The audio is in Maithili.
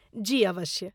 जी अवश्य।